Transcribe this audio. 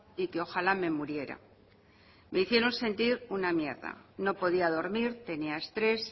y que ojala me muriera me hicieron sentir una mierda no podía dormir tenía estrés